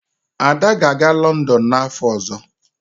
Ada ga-aga Lọndọn n'afọ ọzọ